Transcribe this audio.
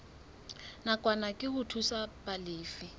nakwana ke ho thusa balefi